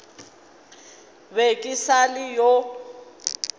be ke sa le yo